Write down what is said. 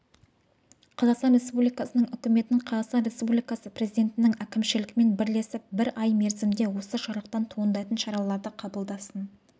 қазақстан республикасының үкіметі қазақстан республикасы президентінің әкімшілігімен бірлесіп бір ай мерзімде осы жарлықтан туындайтын шараларды қабылдасын